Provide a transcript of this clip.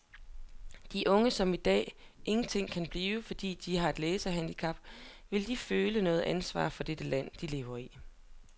De unge som i dag ingenting kan blive, fordi de har et læsehandicap, vil de føle noget ansvar for det land, de lever i?